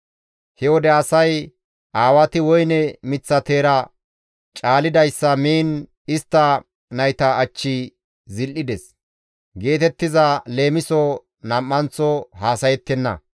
«He wode asay, ‹Aawati woyne miththa teera caalidayssa miin istta nayta achchi zil7ides› geetettiza leemiso nam7anththo haasayettenna.